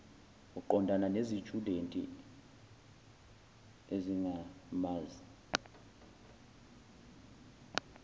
uqondana nezitshudeni ezingamazi